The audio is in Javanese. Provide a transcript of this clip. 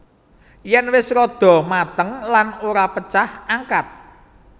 Yen wis rada mateng lan ora pecah angkat